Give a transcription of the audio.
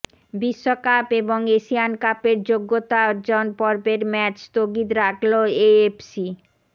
বিশ্বকাপ এবং এশিয়ান কাপের যোগ্যতা অর্জন পর্বের ম্যাচ স্থগিত রাখল এএফসি